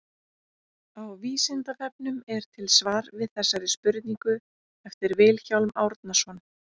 Á Vísindavefnum er til svar við þessari spurningu eftir Vilhjálm Árnason.